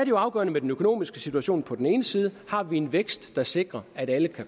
jo afgørende med den økonomiske situation på den ene side har vi en vækst der sikrer at alle